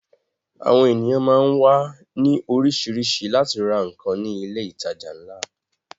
Àwọn ènìyàn máá ń wá ní orísìírísìí láti ra nǹkan ní ilé ìtajà ńlá